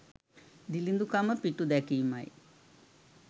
දිළිඳුකම පිටුදැකීමයි.